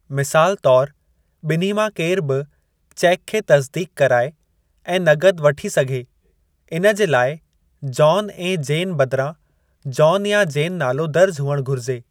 मिसाल तौरु, ॿिन्ही मां केरु बि चेकु खे तस्दीक़ कराए ऐं नकद वठी सघे, इन जे लाइ जॉन ऐं जेन बदिरां जॉन या जेन नालो दर्जु हुअणु घुर्जे।